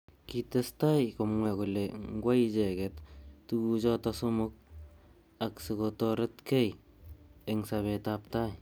Kitestai komwa kole ngwai icheket tukuchotok somok ak sikotoretkei eng sabet ab tai.